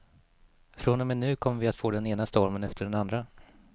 Från och med nu kommer vi att få den ena stormen efter den andra.